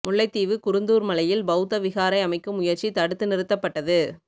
முல்லைத்தீவு குருந்தூர் மலையில் பௌத்த விகாரை அமைக்கும் முயற்சி தடுத்து நிறுத்தப்பட்டது